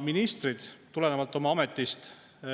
Ministrid tulenevalt oma ametist